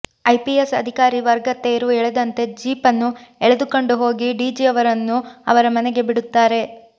IPS ಅಧಿಕಾರಿ ವರ್ಗ ತೇರು ಎಳೆದಂತೆ ಜೀಪನ್ನು ಎಳೆದುಕೊಂಡು ಹೋಗಿ ಡಿಜಿಯವರನ್ನು ಅವರ ಮನೆಗೆ ಬಿಡುತ್ತಾರೆ